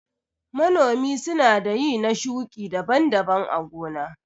Manomi sunada ƴi na shuƙi daban-daban a gona.